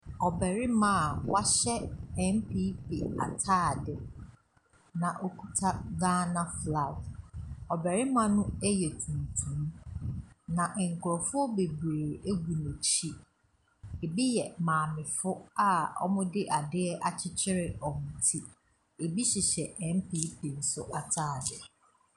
Ɔbarima a wahyɛ NPP ataade na okita Ghana flag. Ɔbarima no yɛ tuntum na nkurɔfoɔ bebree gu n’akyi, bi yɛ maamefo a wɔde adeɛ akyekyere wɔn ti. Bi hyehyɛ NPP nso ataade.